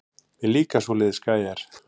Mér líka svoleiðis gæjar.